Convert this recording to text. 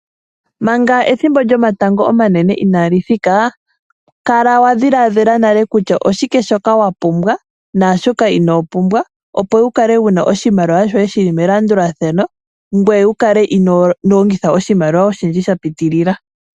Manga ethimbo lyomatango omanene inaali thika , kala wadhilaadhila nale kutya oshike shoka wapumbwa , naashoka inoo pumbwa opo wukale wuna oshimaliwa shoye shili melandulathano ngoye wukale inoo longitha oshimaliwa shoye oshindji shapitilila.